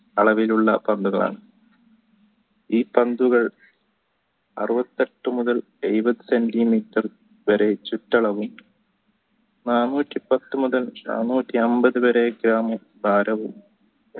അളവിലുള്ള പന്തുകളാണ് ഈ പന്തുകൾ അറുപത്തെട്ടു മുതൽ എഴുപത്തഞ്ചു വരെ ചുറ്റളവിൽ നാനൂറ്റി പത്തു മുതൽ നാനൂറ്റി അമ്പത് വരെ ഗ്രാമു ഭാരവും ഉണ്ടായിരിക്കും